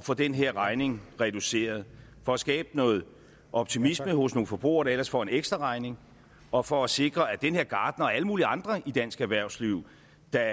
få den her regning reduceret for at skabe noget optimisme hos nogle forbrugere der ellers får en ekstraregning og for at sikre at den her gartner og alle mulige andre i dansk erhvervsliv der